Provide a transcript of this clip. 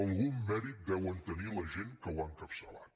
algun mèrit deu tenir la gent que ho ha encapçalat